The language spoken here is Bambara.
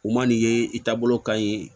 U man'i ye i taabolo ka ɲi